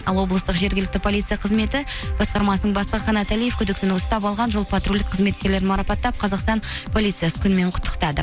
ал облыстық жергілікті полиция қызметі басқармасының бастығы қанат алиев күдіктіні ұстап алған жол патрульдік қызметкерлерін марапаттап қазақстан полициясы күнімен құттықтады